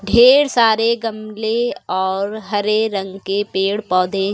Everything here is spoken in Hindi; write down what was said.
ढ़ेर सारे गमले और हरे रंग के पेड़ पौधे --